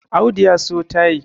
Audu ya siyo tayil